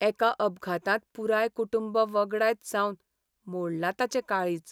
एका अपघातांत पुराय कुटूंब वगडायत सावन मोडलां ताचें काळीज.